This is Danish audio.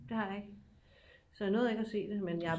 det har jeg ikke så jeg nåede ikke at se det men jeg